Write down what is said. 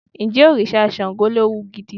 Ǹjẹ́ òrìṣà Ṣàngó léwu gidi?